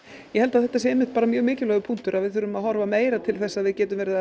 ég held að þetta sé mjög mikilvægur punktur að við þurfum að horfa meira til þess að við gætum verið